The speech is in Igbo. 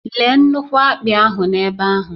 Léé nnukwu akpị ahụ n'ebe ahụ